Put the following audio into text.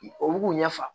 Olu b'u ɲɛ fa